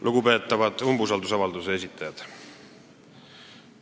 Lugupeetavad umbusaldusavalduse esitajad!